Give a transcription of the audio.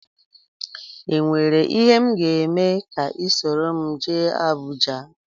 Enwere ihe m ga-eme ka ị soro m jee Abuja?